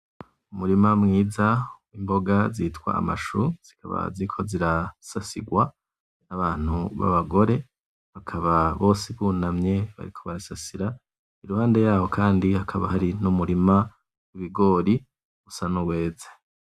Umurima mwiza w'imboga zitwa amashu, zikaba ziriko zirasasigwa n'abantu b'abagore, bakaba bose bunamye bariko barasasira, iruhande yaho kandi hakaba hari n'umurima w'ibigori usa nuweze.